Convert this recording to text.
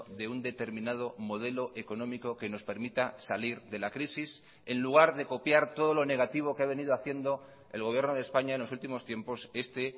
de un determinado modelo económico que nos permita salir de la crisis en lugar de copiar todo lo negativo que ha venido haciendo el gobierno de españa en los últimos tiempos este